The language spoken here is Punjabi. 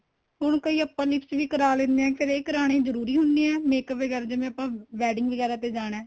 ਹੁਣ ਕਈ ਆਪਾਂ lips ਵੀ ਕਰਾ ਲੈਣੇ ਹਾਂ ਕਦੇਂ ਕਰਾਣੇ ਜਰੂਰੀ ਹੁਣੇ ਏ makeup ਵਗੇਰਾ ਜਿਵੇਂ ਆਪਾਂ wedding ਵਗੈਰਾ ਤੇ ਜਾਣਾ